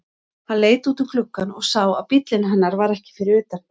Hann leit út um gluggann og sá að bíllinn hennar var ekki fyrir utan.